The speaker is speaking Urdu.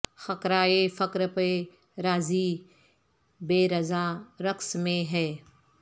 خرقہ ءفقر پہ راضی بہ رضا رقص میں ہے